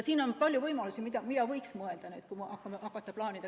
Siin on palju võimalusi, mille üle võiks mõelda, kui hakata plaanima.